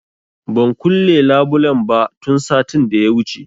Ban kulle labulen ba tun satin da ya wuce